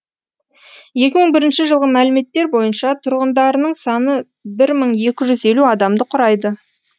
екі мың бірінші жылғы мәліметтер бойынша тұрғындарының саны бір мың екі жүз елу адамды құрайды